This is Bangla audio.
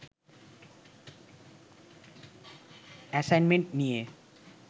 অ্যাসাইনমেন্ট নিয়ে